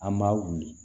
An b'a wuli